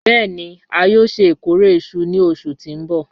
Bẹẹni a yoo ṣe ikore iṣu ni oṣu ti n bọ